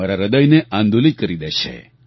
મારા હૃદયને આંદોલિત કરી દે છે